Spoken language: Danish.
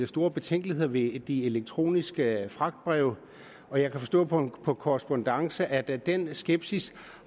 store betænkeligheder ved de elektroniske fragtbreve og jeg kan forstå på en korrespondance at den skepsis